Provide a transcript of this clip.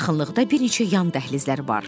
Yaxınlıqda bir neçə yan dəhlizləri var.